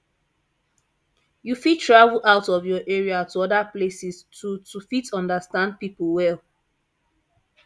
you fit travel out of your area to oda places to to fit understand pipo well